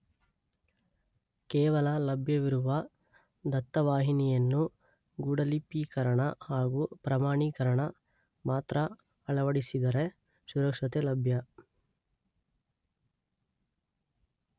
ಕೇವಲ ಲಭ್ಯವಿರುವ ದತ್ತ ವಾಹಿನಿಯನ್ನು ಗೂಢಲಿಪೀಕರಣ ಹಾಗೂ ಪ್ರಮಾಣೀಕರಣ ಮಾತ್ರ ಅಳವಡಿಸಿದರೆ ಸುರಕ್ಷತೆ ಲಭ್ಯ.